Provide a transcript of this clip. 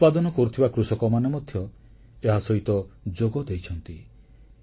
ଶସ୍ୟ ଉତ୍ପାଦନ କରୁଥିବା କୃଷକମାନେ ମଧ୍ୟ ଏହା ସହିତ ଯୋଗ ଦେଇଛନ୍ତି